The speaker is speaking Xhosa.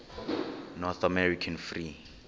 north american free